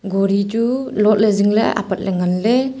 gori chu lot ley zing ley apat ley.